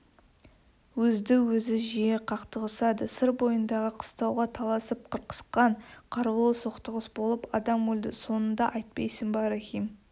өзді-өзі жиі қақтығысады сыр бойындағы қыстауға таласып қырқысқан қарулы соқтығыс болып адам өлді соныңды айтпайсыңба рахим